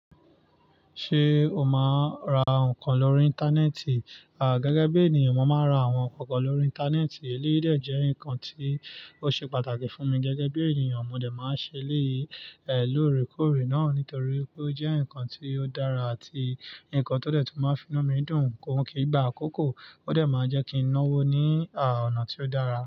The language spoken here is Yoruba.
Ṣé o máa ń ra nǹkan lórí Íńtánẹ́ẹ̀tì? À, gẹ́gẹ́ bí ènìyàn, mo máa ń ra àwọn nnkanp kan lórí Íńtánẹ́ẹ̀tì. Eléyii dè jẹ́ nǹkan tí ó ṣe pàtàkì fún mi. Gẹ́gẹ́ bí ènìyàn, mo dè máa ń ṣe eleyii lóòrèkóòrè náà nítorí pé ó jẹ́ nǹkan tí ó dára àti nǹkan tó dẹ̀ tún máa ń fi inu mi dùn. Óhun kì í gbà á kókó, ó dẹ̀ máa ń jẹ́ kí n náwó ní, à, ọ̀nà tí ó dára.